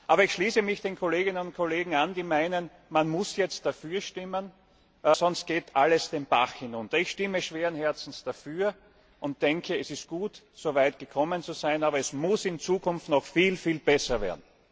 Aber ich schließe mich den Kolleginnen und Kollegen an, die meinen, man muss jetzt dafür stimmen, weil sonst alles den Bach hinunter geht. Ich stimme schweren Herzens dafür und denke, es ist gut, soweit gekommen zu sein, aber es muss in Zukunft noch viel besser werden.